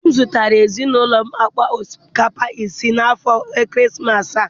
Di m zụtara ezinụlọ m akpa osikapa 5 n'afọ ekeresimesi a.